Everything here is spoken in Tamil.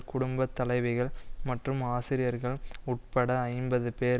குடும்ப தலைவிகள் மற்றும் ஆசிரியர்கள் உட்பட ஐம்பது பேர்